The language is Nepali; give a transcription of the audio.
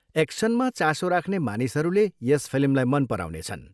एक्सनमा चासो राख्ने मानिसहरूले यस फिल्मलाई मन पराउनेछन्।